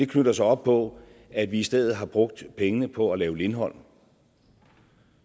knytter sig op på at vi i stedet har brugt pengene på at lave lindholm